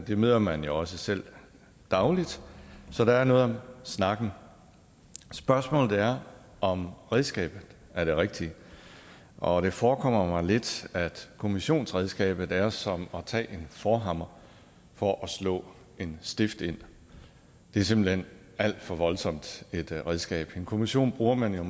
det møder man jo også selv dagligt så der er noget om snakken spørgsmålet er om redskabet er det rigtige og det forekommer mig lidt at kommissionsredskabet er som at tage en forhammer for at slå en stift ind det er simpelt hen alt for voldsomt et redskab en kommission bruger man jo